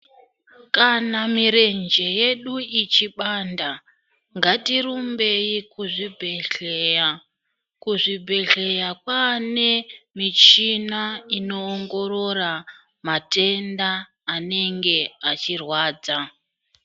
Kana mirenje yedu ichibanda ngatirumbei kuzvibhedhleya. Kuzvibhedhleya kwane michina inoongorora matenda anenge achirwadza.